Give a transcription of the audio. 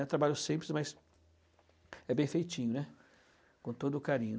É um trabalho simples, mas é bem feitinho, né, com todo o carinho.